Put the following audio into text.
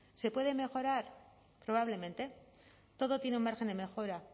se puede mejorar probablemente todo tiene un margen de mejora